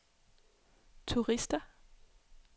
turister